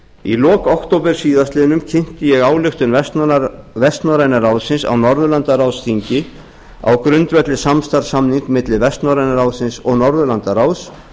í lok október síðastliðnum kynnti ég ályktun vestnorræna ráðsins á norðurlandaráðsþingi á grundvelli samstarfssamnings milli vestnorræna ráðsins og norðurlandaráðs